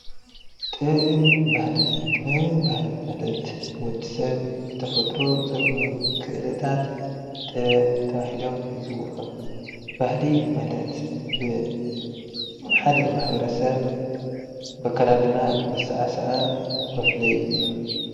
ጥበብን ባህልን: ጥበብን ባህልን ማለት ወድሰብ ብተፈጥሮ ዘግንዮም ክእለታት ጥበብ ተባሂሎም ይፅዉዑ። ባህሊ ማለት ብሓደ ማሕበረሰብ ብኣከዳድና ብኣሰዓሳዓ መፍለዪ እዩ።